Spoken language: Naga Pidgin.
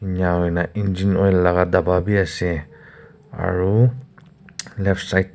inika hoi na engine oil laga dabba bi ase aro left side --